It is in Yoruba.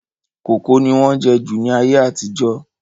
Kókò ni wọ́n jẹ́ jù ní ayé àtijọ́